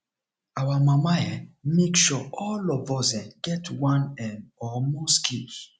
our mama um make sure all of us um get one um or more skills